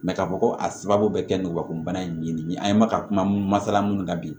k'a fɔ ko a sababu bɛ kɛ n ka ko bana in ye nin ye an ye maka kuma masala minnu kan bi